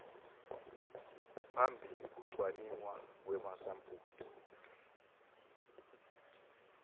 phambili kucwaningwa kwemasampuli